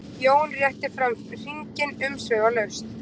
Jón rétti fram hringinn umsvifalaust.